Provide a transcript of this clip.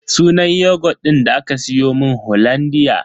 Sunan yogut din da aka siyomun hollandia.